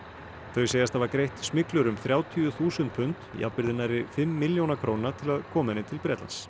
þau segjast hafa greitt smyglurum þrjátíu þúsund pund jafnvirði nærri fimm milljóna króna til að koma henni til Bretlands